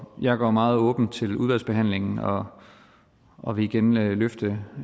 jeg går meget åbent til udvalgsbehandlingen og og vil igen løfte